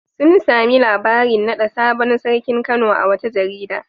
Sun sami labarin naɗa sabon sarkin Kano a wata jarida.